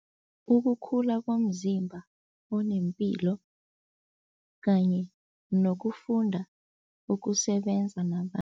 Ukukhula komzimba onempilo kanye nokufunda ukusebenza